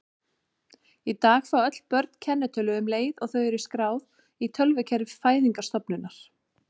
Í dag fá öll börn kennitölu um leið og þau eru skráð í tölvukerfi fæðingarstofnunar.